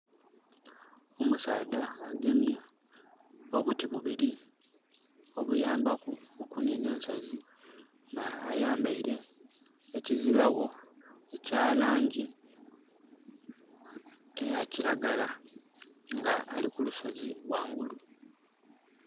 Omusaadha agemye obuti bubiri obuyambaku okuninha ensozi nga ayambaire ekizibagho ekya langi eya kiragala nga ali kulusozi ghangulu.